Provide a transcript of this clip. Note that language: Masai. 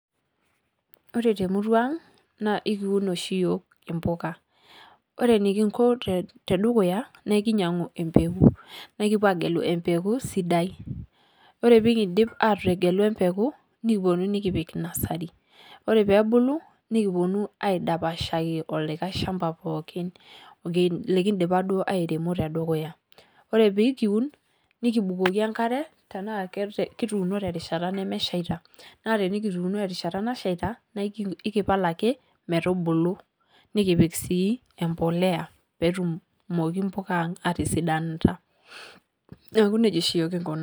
Ore te murrua ang' naa ekiuun oshii yook embukaa. Ore nikinkoo te dukuya naa ekinyau embekuu naa kipoo ajeluu embekuu sidai. Ore pii kidiip atejeluu mbekuu nikiponuu nikipiik nursery ore pee ebuluu nikiponuu aidapashaaki olikai lshaamba pookin likidipaa doo airemuu te dukuya. Ore pee ikiuun nikibukoki enkaare tana kituuno te rishaata nemeeshata. Naa tana kituunu te rishaata nasheeta naa ekipaal ake metubuluu. Nikipiik sii embolea pee etumooki mbukaa ang' aitisidanita. Neeku nejaa sii kinkoo.